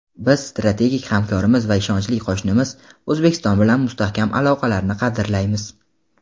Biz strategik hamkorimiz va ishonchli qo‘shnimiz O‘zbekiston bilan mustahkam aloqalarni qadrlaymiz.